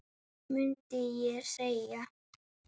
mundi ég segja.